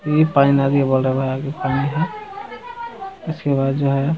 ये पानी नदी पानी है इसके बाद जो है।